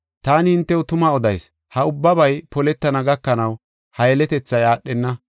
Taani hintew tuma odayis; ha ubbabay poletana gakanaw, ha yeletethay aadhenna.